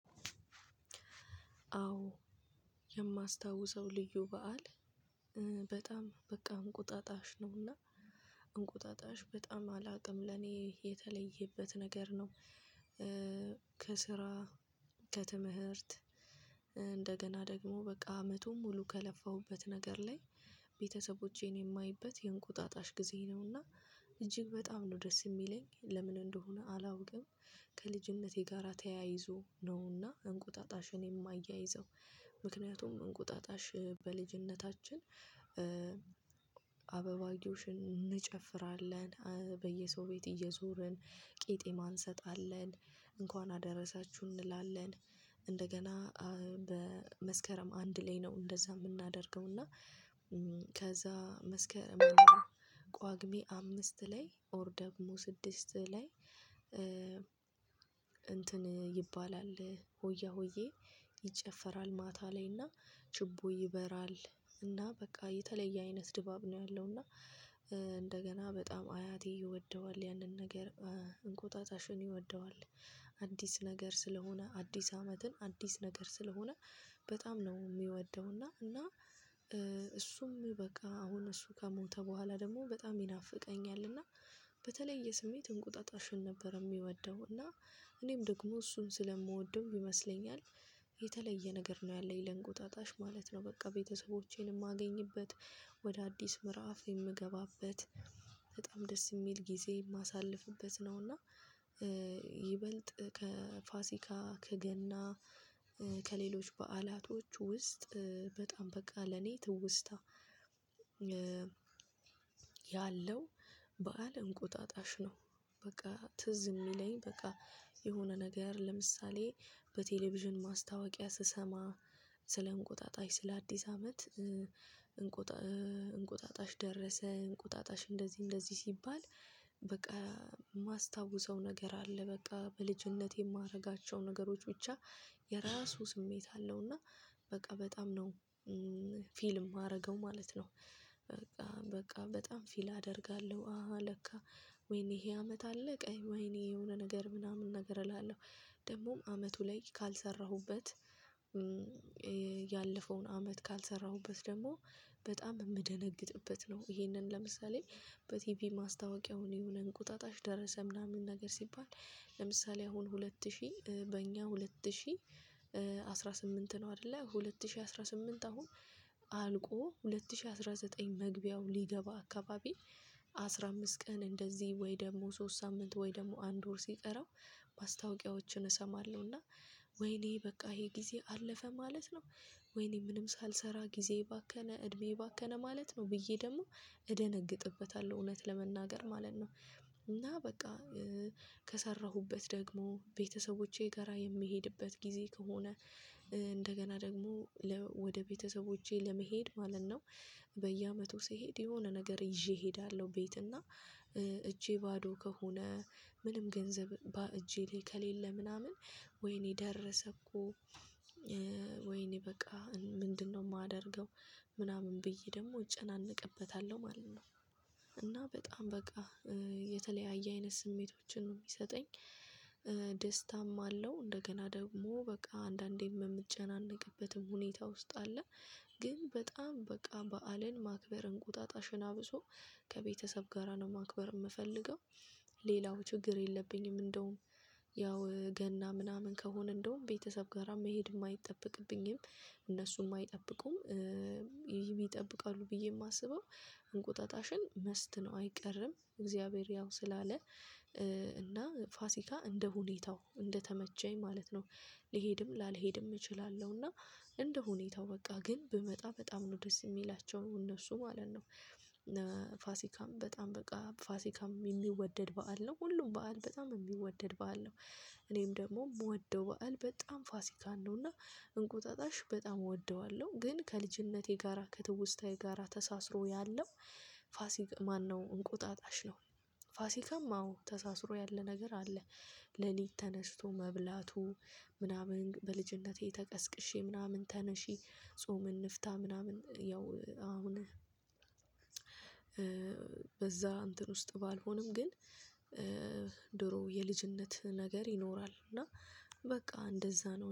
አዎ የማስታውሰው ልዩ በዓል በጣም በቃ እንቁጣጣሽ ነውና እንቁጣጣሽ በጣም አላውቅም ለኔ የተለየበት ነገር ነው። ከስራ፣ ከትምህርት እንደገና ደግሞ በቃ አመቱ ሙሉ ከለፋሁበት ነገር ላይ ቤተሰቦቼን የማይበት የእንቁጣጣሽ ጊዜ ነውና እጅግ በጣም ነው ደስ የሚለኝ። ለምን እንደሆነ አላውቅም። ከልጅነቴ ጋራ ተያይዞ ነውና እንቁጣጣሽን የማያይዘው። ምክንያቱም እንቁጣጣሽ በልጅነታችን እንጨፍራለን። በየሰው ቤት እየዞርን ቂጤማ እንሰጣለን። እንኳን አደረሳችሁ እንላለን። እንደገና በመስከረም አንድ ላይ ነው እንደዛ የምናደርገው። እና ከዛ መስከረም ቋጉሜ አምስት ላይ ኦር ደግሞ ስድስት ላይ እንትን ይባላል ሆያ ሆዬ ይጨፈራል ማታ ላይና ጭቦ ይበራል። እና በቃ የተለየ አይነት ድባብ ነው ያለው። እና እንደገና በጣም አያቴ ይወደዋል ያንን ነገር። እንቆጣጣሽን ይወደዋል። አዲስ ነገር ስለሆነ አዲስ አመትን አዲስ ነገር ስለሆነ በጣም ነው የሚወደው። እና እሱም በቃ አሁን እሱ ከሞተ በኋላ ደግሞ በጣም ይናፍቀኛል። እና በተለየ የስሜት እንቁጣጣሽን ነበር የሚወደው። እና እኔም ደግሞ እሱን ስለምወደው ይመስለኛል። የተለየ ነገር ነው ያለኝ ለእንግውጣጣሽ ማለት ነው። በቃ ቤተሰቦቼን የማገኝበት ወደ አዲስ ምዕራፍ የምገባበት፣ በጣም ደስ የሚል ጊዜ የማሳልፍበት ነው። እና ይበልጥ ከፋሲካ፣ ከገና ከሌሎች በዓላቶች ውስጥ በጣም በቃ ለኔ ትውስታ ያለው በዓል እንቁጣጣሽ ነው። በቃ ትዝ የሚለኝ በቃ የሆነ ነገር ለምሳሌ በቴሌቪዥን ማስታወቂያ ስሰማ፤ ስለ እንቁጣጣሽ ስለአዲስ አመት እንቁጣጣሽ ደረሰ፤ እንቁጣጣሽ እንደዚህ እንደዚህ ሲባል በቃ የማስታውሰው ነገር አለ። በቃ በልጅነት የማደርጋቸው ነገሮች ብቻ የራሱ ስሜት አለው። እና በቃ በጣም ነው የማደርገው ማለት ነው። በቃ በጣም ፊል አደርጋለሁ። አሃ ለካ ወይኔ ይሄ አመት አለቀ? ወይኔ የሆነ ነገር ምናምን ነገር እላለሁ። ደግሞም አመቱ ላይ ካልሰራሁበት፣ ያለፈውን አመት ካልሰራሁበት ደግሞ በጣም የምደነግጥበት ነው። ይሄንን ለምሳሌ በቲቪ ማስታወቂያውን የሆነ እንቁጣጣሽ ደረሰ ምናምን ነገር ሲባል ለምሳሌ አሁን ሁለት ሺህ በእኛ ሁለት ሺህ አስራ ስምንት ነው አይደለ። ሁለት ሺህ አስራ ስምንት አሁን አልቆ ሁለት ሺህ አስራ ዘጠኝ መግቢያው ሊገባ አካባቢ አስራ አምስት ቀን እንደዚህ ወይ ደግሞ ሶስት ሳምንት ወይ ደግሞ አንድ ወር ሲጠራው ማስታወቂያዎችን እሰማለሁ። እና ወይኔ በቃ ይሄ ጊዜ አለፈ ማለት ነው? ወይኔ ምንም ሳልሰራ ጊዜ እባከነ እድሜ እባከነ ማለት ነው ብዬ ደግሞ እደነግጥበታለሁ እውነት ለመናገር ማለት ነው። እና በቃ ከሰራሁበት ደግሞ ቤተሰቦቼ ጋራ የምሄድበት ጊዜ ከሆነ እንደገና ደግሞ ወደ ቤተሰቦቼ ለመሄድ ማለት ነው። በየአመቱ ሲሄድ የሆነ ነገር ይዤ እሄዳለሁ ቤት። እና እጄ ባዶ ከሆነ ምንም ገንዘብ ባእጄ ላይ ከሌለ ምናምን ወይኔ ደረሰ እኮ ወይኔ በቃ ምንድነው የማደርገው ምናምን ብዬ ደግሞ እጨነቅበታለሁ ማለት ነው። እና በጣም በቃ የተለያየ አይነት ስሜቶችን ነው የሚሰጠኝ። ደስታም አለው እንደገና ደግሞ በቃ አንዳንዴም የምጨናነቅበትም ሁኔታ ውስጥ አለ። ግን በጣም በቃ በዓልን ማክበር እንቁጣጣሽን አብሶ ከቤተሰብ ጋራ ነው ማክበር የምፈልገው። ሌላው ችግር የለብኝም። እንደውም ያው ገና ምናምን ከሆነ እንደውም ቤተሰብ ጋራ መሄድ የማይጠበቅብኝም እነሱም አይጠብቁም። ይጠብቃሉ ብዬ የማስበው እንቁጣጣሽን መስት ነው አይቀርም። እግዚአብሔር ያው ስላለ እና ፋሲካ እንደ ሁኔታው እንደተመቸኝ ማለት ነው። ልሄድም ላልሄድም እችላለሁና እንደ ሁኔታው በቃ ግን ብመጣ በጣም ነው ደስ የሚላቸው እነሱ ማለት ነው። ፋሲካም በጣም በቃ ፋሲካም የሚወደድ በዓል ነው። ሁሉም በዓል በጣም የሚወደድ በዓል ነው። እኔም ደግሞ የምወደው በዓል በጣም ፋሲካን ነው። እና እንቁጣጣሽ በጣም እወደዋለሁ። ግን ከልጅነቴ ጋራ ከትውስታዬ ጋራ ተሳስሮ ያለው እንቁጣጣሽ ነው። ፋሲካም አዎ ተሳስሮ ያለ ነገር አለ። ሌሊት ተነስቶ መብላቱ ምናምን በልጅነቴ ተቀስቅሼ ምናምን ተነሺ ጾም እንፍታ ምናምን ያው አሁን በዛ እንትን ውስጥ ባልሆንም ግን ድሮ የልጅነት ነገር ይኖራል። እና በቃ እንደዛ ነው።